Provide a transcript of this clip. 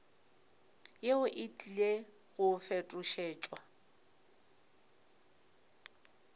yeo e tlile go fetošetšwa